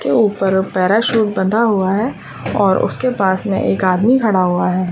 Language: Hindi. के ऊपर पैरासूट बंधा हुआ है और उसके पास में आदमी खड़ा हुआ है।